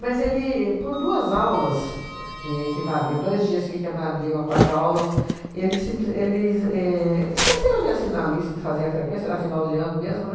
Mas ele, por duas aulas, que equivalia dois dias que equivaliam a quatro aulas, ele simplis ele éh esqueceu de assinar a lista, de fazer a frequência, era final de ano mesmo, né?